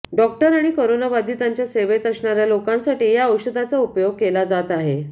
doctor आणि कोरोनाबाधितांच्या सेवेत असणाऱ्या लोकांसाठी या औषधाचा उपयोग केला जात आहे